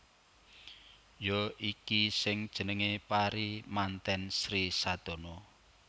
Ya iki sing jenengé pari mantèn Sri Sadana